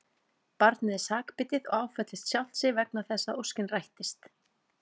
Barnið er sakbitið og áfellist sjálft sig vegna þess að óskin rættist.